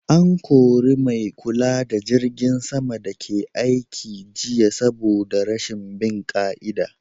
An kori mai kula da jirgin sama daga aiki jiya saboda rashin bin ƙa'ida